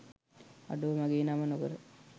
අඩෝ මගේ නම නොකර